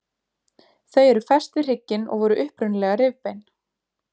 Þau eru fest við hrygginn og voru upprunalega rifbein.